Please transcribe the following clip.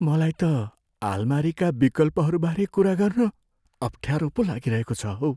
मलाई त आलमारीका विकल्पहरू बारे कुरा गर्न अफ्ठ्यारो पो लागिरहेको छ हौ।